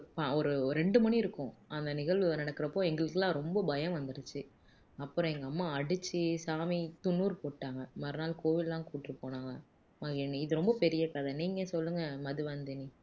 ப ஒரு ஒரு ரெண்டு மணி இருக்கும் அந்த நிகழ்வு நடக்குறப்போ எங்களுக்கு எல்லாம் ரொம்ப பயம் வந்துருச்சு அப்பறம் எங்க அம்மா அடிச்சு சாமி துண்ணூரு போட்டாங்க மறுநாள் கோயில் எல்லாம் கூட்டிட்டு போனாங்க மகிழினி இது ரொம்ப பெரிய கதை நீங்க சொல்லுங்க மதுவந்தினி